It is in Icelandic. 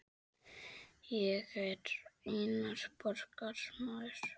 Ég er einnar borgar maður.